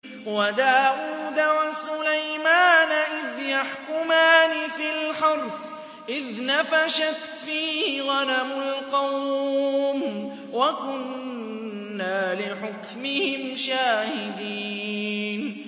وَدَاوُودَ وَسُلَيْمَانَ إِذْ يَحْكُمَانِ فِي الْحَرْثِ إِذْ نَفَشَتْ فِيهِ غَنَمُ الْقَوْمِ وَكُنَّا لِحُكْمِهِمْ شَاهِدِينَ